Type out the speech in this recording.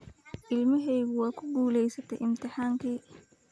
Ilmahaygu waa ku guulaystay imtixaankii